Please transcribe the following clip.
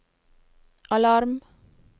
alarm